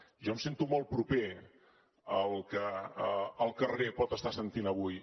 jo em sento molt proper al que el carrer pot estar sentint avui